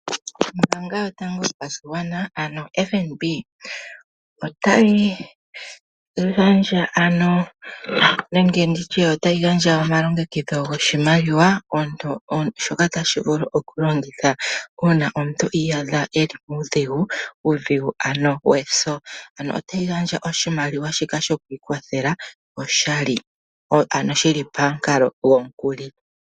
Ombaanga yotango yopashigwana ano yo FNB otayi gandja ano omalongekidho goshimaliwa shoka tashi vulu oku longithwa uuna omuntu iyaadha eli muudhigu, muudhigu ano weso . Ano otayi gandja oshimaliwa shoka sho kwiikwa thela. Otayi gandja oshimaliwa shika oshali, ano shili pamukalo gomukuli.